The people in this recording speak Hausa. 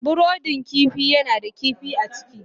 brudin kifi yana da kifi a ciki.